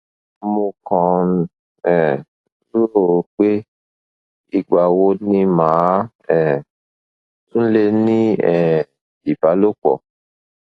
mo kàn ń um rò ó pé ìgbà wo ni màá um tún lè ní um ìbálòpọ